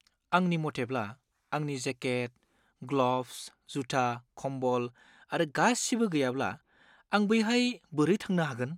आंनि मथेब्ला, आंनि जेकेट, ग्लभ्स, जुथा, कम्बल आरो गासिबो गैयाब्ला, आं बैहाय बोरै थांनो हागोन?